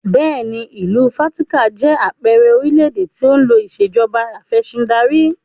Bẹ́ẹ̀ni, ìlú Vatican jẹ àpẹẹrẹ orílédé tí ó ń lò ìsèjọba afẹ̀sindarí